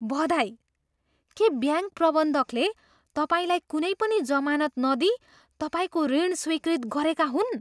बधाई! के ब्याङ्क प्रबन्धकले तपाईँलाई कुनै पनि जमानत नदिई तपाईँको ऋण स्वीकृत गरेका हुन्?